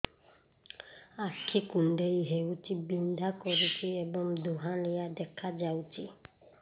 ଆଖି କୁଂଡେଇ ହେଉଛି ବିଂଧା କରୁଛି ଏବଂ ଧୁଁଆଳିଆ ଦେଖାଯାଉଛି